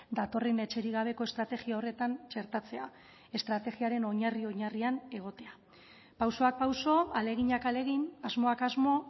datorren etxerik gabeko estrategia horretan txertatzea estrategiaren oinarri oinarrian egotea pausoak pauso ahaleginak ahalegin asmoak asmo